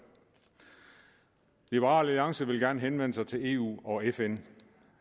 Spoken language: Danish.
liberal alliance vil gerne henvende sig til eu og fn